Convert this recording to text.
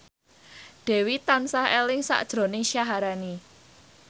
Dewi tansah eling sakjroning Syaharani